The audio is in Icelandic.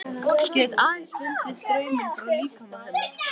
Get aðeins fundið strauminn frá líkama hennar.